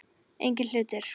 Eigin hlutir.